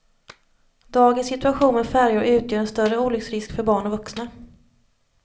Dagens situation med färjor utgör en större olycksrisk för barn och vuxna.